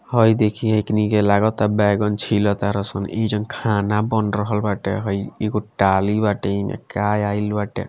है देखि एकनी के लागता बैगन छिला तारे सन इ जन खाना बन रहल बाटे हे एगो डाली बाटे इ में क्या डाली बाटे।